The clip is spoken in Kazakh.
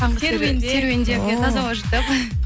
серуендеп ия таза ауа жұтып